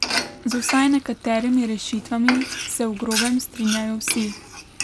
Z vsaj nekaterimi rešitvami se v grobem strinjajo vsi.